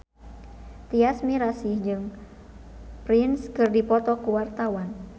Tyas Mirasih jeung Prince keur dipoto ku wartawan